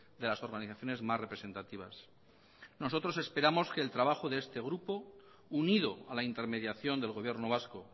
de las organizaciones más representativas nosotros esperamos que el trabajo de este grupo unido a la intermediación del gobierno vasco